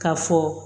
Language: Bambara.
Ka fɔ